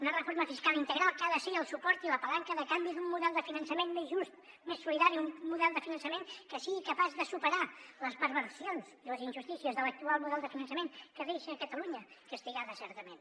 una reforma fiscal integral que ha de ser el suport i la palanca de canvi d’un model de finançament més just més solidari un model de finançament que sigui capaç de superar les perversions i les injustícies de l’actual model de finançament que deixa catalunya castigada certament